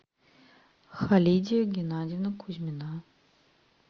халидия геннадьевна кузьмина